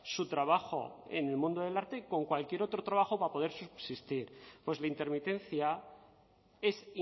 su trabajo en el mundo del arte con cualquier otro trabajo para poder subsistir pues la intermitencia es